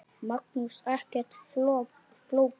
Magnús: Ekkert flókið?